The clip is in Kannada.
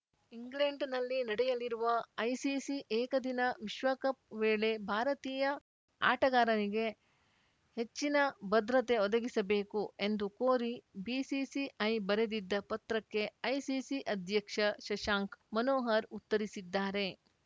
ಇಂಗ್ಲೆಂಡ್‌ನಲ್ಲಿ ನಡೆಯಲಿರುವ ಐಸಿಸಿ ಏಕದಿನ ವಿಶ್ವಕಪ್‌ ವೇಳೆ ಭಾರತೀಯ ಆಟಗಾರರಿಗೆ ಹೆಚ್ಚಿನ ಭದ್ರತೆ ಒದಗಿಸಬೇಕು ಎಂದು ಕೋರಿ ಬಿಸಿಸಿಐ ಬರೆದಿದ್ದ ಪತ್ರಕ್ಕೆ ಐಸಿಸಿ ಅಧ್ಯಕ್ಷ ಶಶಾಂಕ್‌ ಮನೋಹರ್‌ ಉತ್ತರಿಸಿದ್ದಾರೆ